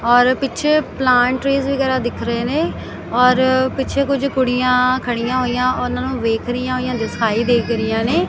ਔਰ ਪਿੱਛੇ plant trees ਵਗੈਰਾ ਦਿਖ ਰਹੇ ਨੇ ਔਰ ਪਿੱਛੇ ਕੁਝ ਕੁੜੀਆਂ ਖੜੀਆਂ ਹੋਈਆਂ ਉਹਨਾਂ ਨੂੰ ਵੇਖ ਰਹੀਆਂ ਹੋਈਆਂ ਦਿਸਾਈ ਦੇਖ ਰਹੀਆਂ ਨੇ।